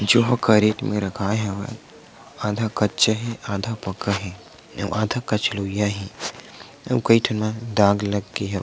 जो हकरेट मा रखाय हवय आधा कच्चा हे आधा पका हे अउ आधा कच लोईया हे अउ कई ठो में दाग लग गे हवे।